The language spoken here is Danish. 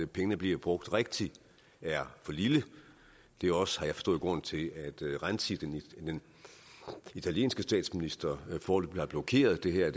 pengene bliver brugt rigtigt er for lille det er også har jeg forstået grunden til at renzi den italienske statsminister foreløbig har blokeret det her